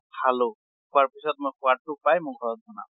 খালো, খোৱাৰ পিছত সোৱাদ টো পাই মই ঘৰত বনাম